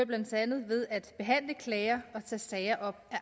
blandt andet ved at behandle klager og tage sager op af